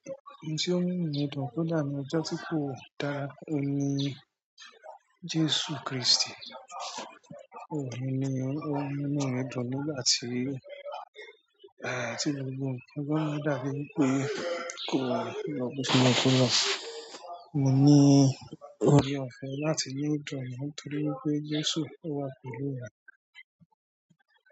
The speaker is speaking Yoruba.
Ohun tí ó ń múnú mi dùn kódà ni ọjọ́ tí kò dára, òun ni Jésù Kristì. Tóò òun ní ó ń múnú mi dùn nígbà tí, tí gbogbo nǹkan bá ń dàbí ẹni pé kò lọ bó ṣe yẹ kó lọ. Mo ní oore-ọ̀fẹ́ láti ní ìdùnnú nítorí wípé Jésù ó wà pẹ̀lú mi.